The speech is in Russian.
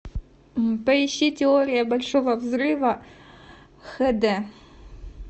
поищи теория большого взрыва хд